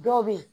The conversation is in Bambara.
Dɔw bɛ yen